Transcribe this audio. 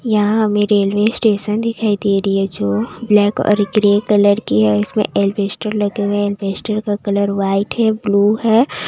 यहां हमें railway station दिखाई दे रही है जो ब्लैक और ग्रे कलर की है इसमें एलबेस्ट र लगे हुए हैं एलवेस्टर का कलर वाइट है ब्लू है --